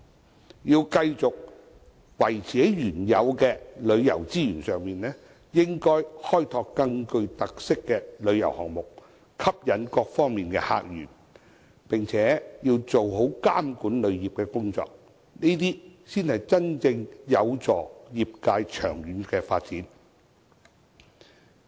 我們既要維持原有的旅遊資源，亦應該開拓更具特色的旅遊項目，吸引各方面的客源，並且做好監管旅遊業的工作，才能真正有助業界的長遠發展。